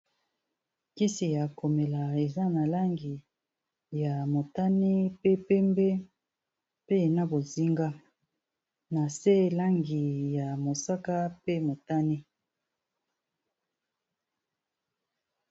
Kisi ya komela eza na langi ya motani pe pembe pe na bozinga na se langi ya mosaka pe motani.